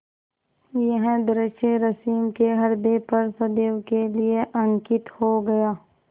यह दृश्य रश्मि के ह्रदय पर सदैव के लिए अंकित हो गया